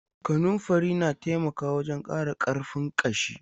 Kanunfari na taimaka wajen ƙara ƙarfin ƙashi.